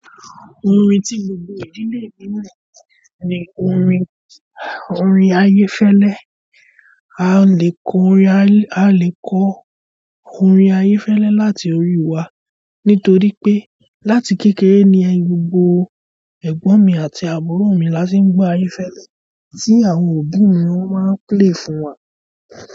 Orin tí gbogbo ìdílé mi mọ̀ ni orin, orin ayé fẹ́lẹ́. Alẹ́ kọ orin ayé, alẹ́ kọ. Orin ayé fẹ́lẹ́ láti orí wa nítorí pé láti kékeré ni gbogbo ẹ̀gbọ́n mi àti àbúrò mi la ti ń gbọ ayé fẹ́lẹ́ tí àwọn òbí mi wọ́n máa ń play fún wa.